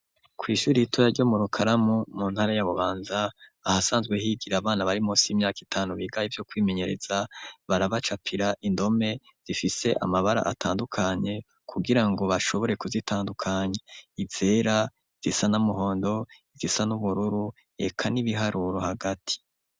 Kw'ishuri ritoya ryo mu Rukaramu mu ntara ya Bubanza ahasanzwe higira abana bari munsi y'imyaka itanu, biga ivyo kwimenyereza, barabacapira indome zifise amabara atandukanye, kugira ngo bashobore kuzitandukanya: izera, izisa n'umuhondo, izisa n'ubururu eka n'ibiharuro hagati.